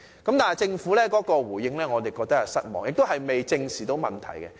但是，政府的回應令我們感到失望，亦未能正視問題。